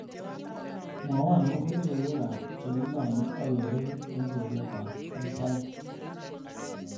Mwawon agoba logoywekab chegilonye ak keregu eng sogetab hisaik